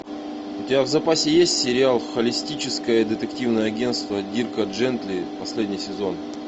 у тебя в запасе есть сериал холистическое детективное агентство дирка джентли последний сезон